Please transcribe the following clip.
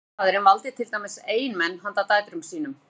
fjölskyldufaðirinn valdi til dæmis eiginmenn handa dætrum sínum